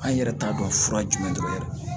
An yɛrɛ t'a dɔn fura jumɛn dɔrɔn